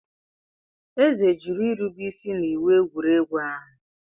Eze jụrụ irube isi n'iwu egwuregwu ahụ.